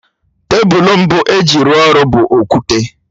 Tebụl mbụ e ji rụọ ọrụ bụ okwute